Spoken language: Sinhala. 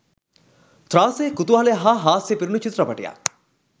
ත්‍රා‍ස‍ය‍ කු‍තු‍හ‍ල‍ය‍ හා‍ හා‍ස්‍ය‍ පි‍රු‍ණු‍ චි‍ත්‍ර‍ප‍ටි‍ය‍ක්